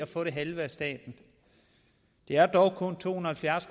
få det halve af staten det er dog kun to hundrede